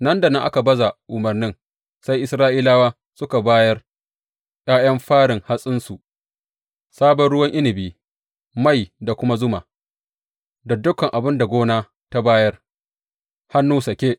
Nan da nan aka baza umarnin, sai Isra’ilawa suka bayar ’ya’yan farin hatsinsu, sabon ruwan inabi, mai da kuma zuma da dukan abin da gona ta bayar, hannu sake.